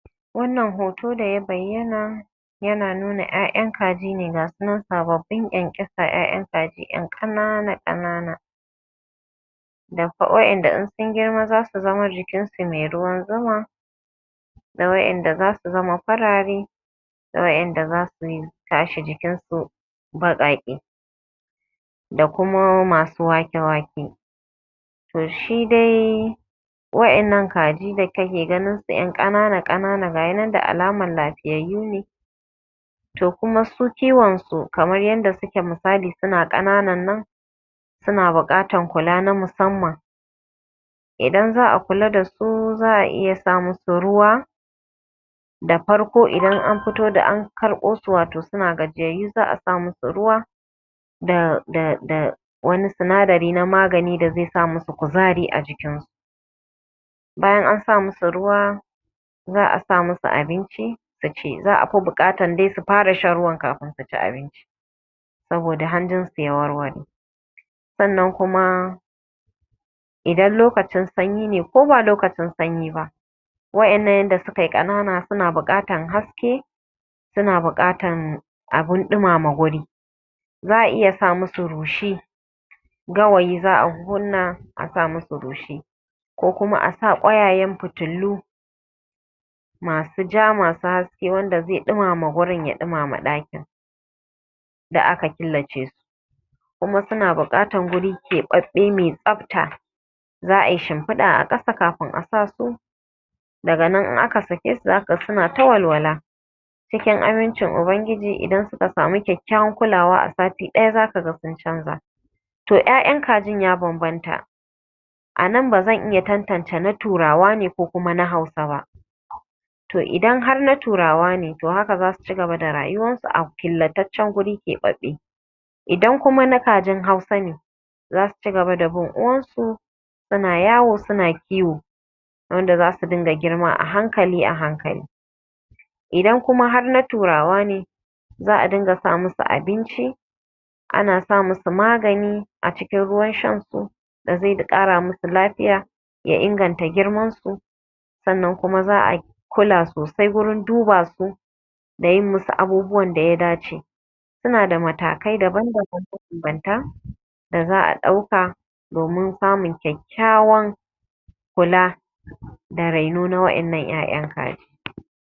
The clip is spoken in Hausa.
Wannan hoto da ya bayyana yana nuna ƴaƴan kaji ne ga su nan sababbin ƙyanƙyasa. Ƴaƴan kaji ƴan ƙanana-ƙanana waƴanda in sun girma za su zama jikin su mai ruwan zuma da waƴanda za su zama farare da waƴanda za su tashi jikinsu baƙaƙe da kuma masu wake wake. To shi dai waƴannan kaji da kake ganinsu yan ƙanana ƙanana gashi nan da alama lafiyayyu ne. To kuma su kiwonsu kamar yadda suke ƙananan nan suna buƙatan kula na musamman. Idan za a kula da su za a iya sa musu ruwa, da farko idan an fito da an karɓo su suna gajiyayyu za a sa musu ruwa da da da wani sinadari mai sa musu kuzari a jikin su Bayan an sa musu ruwa za a sa musu abinci su ci za a fi bukatan dai su fara sha ruwankafin su ci abinci saboda hanjinsu ya warware. Sannan kuma idan lokaci ya yi lokacin sanyi ne ko ba lokacin sanyi ba. Waɗannan wanda sukai ƙanana suna buƙatan haske kuma suna buƙatan abin ɗumama wuri, za a iya sa musu rushi gawayi za a kunna a sa musu rushi ko kuma a sa ƙwayayen fitillu masu ja masu haske wanda zai ɗumamu wurin ya ɗumama ɗakin da aka killace su kuma suna buƙatan wuri keɓaɓɓe mai tsafta, za a yi shimfida a ƙasa kafin a sa su daga nan in aka sake su za a ga suna ta walwala cikin amincin ubangiji. Idan suka sami kyakkyawar kulawa a sati ɗaya za ka ga sun canja. To ƴaƴan kajin ya bambanta, a nan ba zan iya tantance na Turawa ko kuma na Hausa ba, to idan har na Turawa ne haka za su cigaba da rayuwarsu a killataccen wuri kuma keɓaɓɓe. Idan kuma na kajin Hausa ne za su cigaba da bin uwarsu suna yawo suna kiwo yanda za su rinƙa girma a hankali a hankali, idan kuma har na Turawa ne za a dinga sa musu abinci ana sa musu magani a cikin ruwan shan su da zai ƙara musu lafiya ya inganta girman su sannan kuma za a kula sosai gurin duba su da yin musu abubuwan da ya dace. Suna da matakai daban daban mabanbanta da za a ɗauka domin samun kyakkyawar kula da raino na wayan nan yayan kaji.